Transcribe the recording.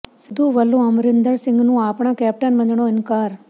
ਸਿੱਧੂ ਵੱਲੋਂ ਅਮਰਿੰਦਰ ਸਿੰਘ ਨੂੰ ਆਪਣਾ ਕੈਪਟਨ ਮੰਨਣੋਂ ਇਨਕਾਰ